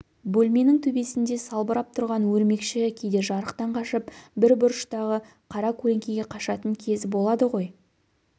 бөлменің төбесінде салбырап тұрған өрмекші кейде жарықтан қашып бір бұрыштағы қара көлеңкеге қашатын кезі болады ғой